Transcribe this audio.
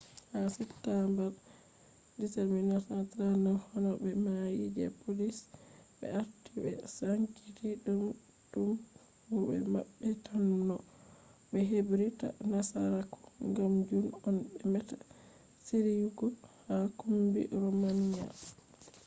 ha september 17 1939,honobe mai je polish be arti be sankiti tum mu de mabbe tan no be hebir ta nasaraku gam jun on be meta shiriyugo ha kumbi romanian